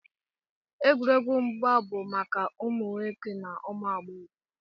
Egwuregwu mgba bụ maka ma ụmụ nwoke ma ụmụ agbọghọ